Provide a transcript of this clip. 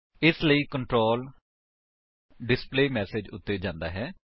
ਇਸ ਲਈ control display message ਉੱਤੇ ਜਾਂਦਾ ਹੈ